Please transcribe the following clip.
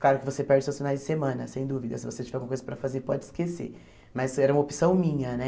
Claro que você perde seus finais de semana, sem dúvida, se você tiver alguma coisa para fazer, pode esquecer, mas era uma opção minha, né.